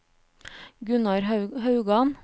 Gunnar Haugan